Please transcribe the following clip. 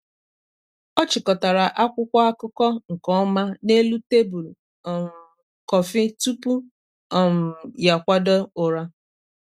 ọ chịkọtara akwụkwọ akụkọ nke ọma n’elu tebụl um kọfị tupu um ya akwado ụra.